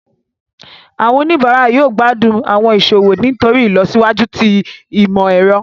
Awọn onibara yóò gbadun awọn iṣowo nitori ilosiwaju ti imọ-ẹrọ.